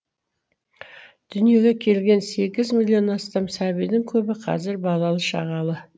дүниеге келген сегіз миллионнан астам сәбидің көбі қазір балалы шағалы